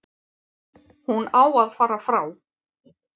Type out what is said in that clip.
Hún á að fara frá.